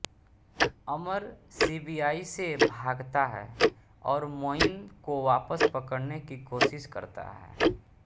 अमर CBI से भागता है और मोइन को वापस पकड़ने की कोशिश करता है